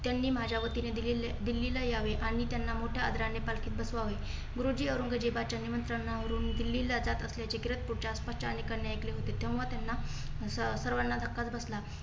त्यांनी माझ्या वतीने दिल्लीला यावे आणि त्यांना मोठय़ा आदराने पालखीत बसवावे. गुरुजी औरंगजेबाच्या निमंत्रणावरून दिल्लीला जात असल्याचे कीरतपुरच्या आसपासच्या अनेकांनी ऐकले होते. तेव्हा त्यांना सर्वांना धक्काच बसला.